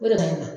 O de ka ɲi